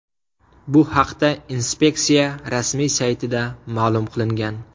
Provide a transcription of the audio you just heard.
Bu haqda inspeksiya rasmiy saytida ma’lum qilingan .